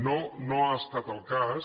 no ha estat el cas